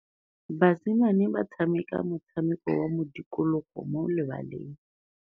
Basimane ba tshameka motshameko wa modikologô mo lebaleng.